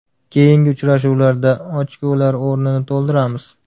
Keyingi uchrashuvlarda ochkolar o‘rnini to‘ldiramiz”.